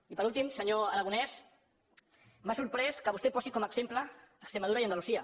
i per últim senyor aragonès m’ha sorprès que vostè posi com a exemple extremadura i andalusia